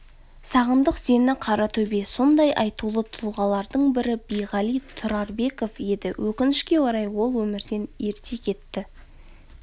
сағындық сені қаратөбе сондай айтулы тұлғалардың бірі биғали тұрарбеков еді өкінішке орай ол өмірден ерте кетті